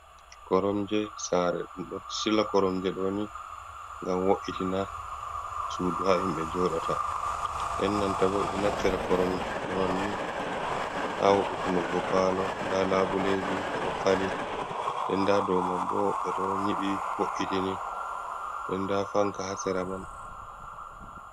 Koromje saare ɗum ɗo sila koromje ɗo'o ni ngam wo’itina suudu haa himɓe jooɗata, nden nanta boo ɗum ɗo naftira koromje man ni haa wo'itungo paalo nda laabuleeji ɓe ɗo fali nden nda dow man boo ɓe ɗo nyiɓi wo’itini nden nda fanka haa sera man.